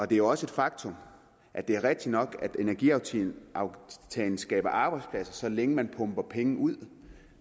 det er også et faktum at det er rigtigt nok at energiaftalen skaber arbejdspladser så længe man pumper penge ud